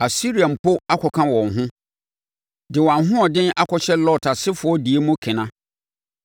Asiria mpo akɔka wɔn ho de wɔn ahoɔden akɔhyɛ Lot asefoɔ deɛ mu kena.